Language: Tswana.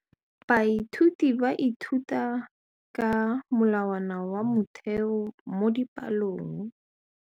Baithuti ba ithuta ka molawana wa motheo mo dipalong.